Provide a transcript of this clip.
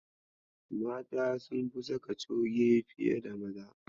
Mata sunfi saka coge fiye da Maza.